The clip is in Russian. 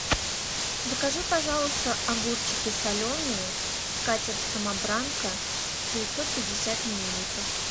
закажи пожалуйста огурчики соленые скатерть самобранка девятьсот пятьдесят миллилитров